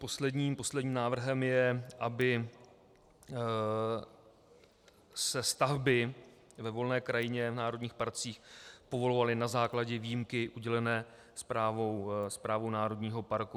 Posledním návrhem je, aby se stavby ve volné krajině v národních parcích povolovaly na základě výjimky udělené správou národního parku.